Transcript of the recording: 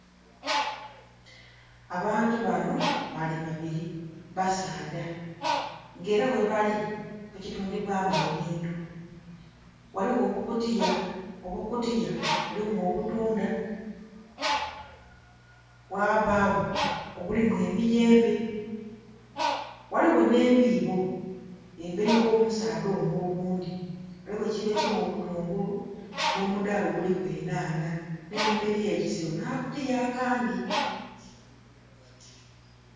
Abantu bano bali babiri, basaadha, nga era ghebali kifo kitundibwamu ebintu. Ghaligho obukutiya, obukutiya bulimu obutunda, ghabagho obulimu emiyembe, ghaligho nh'ebiibo. Emberi gh'omusaadha ono oghundhi waliwo ekiibo ekilimu obutungulu nh'omudaala oguliku enhanha. Nh'enhuma eliyo ekisero nh'akakutiya akandhi.